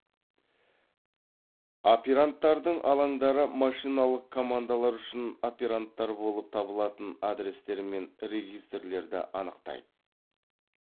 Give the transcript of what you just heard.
операндтардың алаңдары машиналық командалар үшін операндтар болып табылатын адрестер мен регистрлерді анықтайды